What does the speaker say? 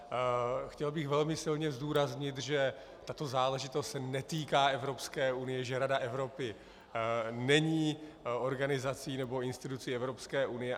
Chtěl bych velmi silně zdůraznit, že tato záležitost se netýká Evropské unie, že Rada Evropy není organizací nebo institucí Evropské unie.